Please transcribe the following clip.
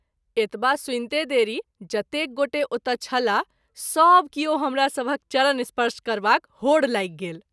एतबा सुनिते देरी जतेक गोटे ओतय छलाह सभ किओ हमरा सभहक चरण स्पर्श करबाक होड़ लागि गेल।